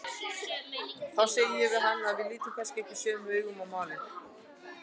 Þá sagði ég við hann að við litum kannski ekki sömu augum á málin.